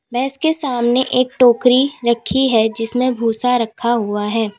भैंस के सामने एक टोकरी रखी है जिसमें भूसा हुआ रखा है।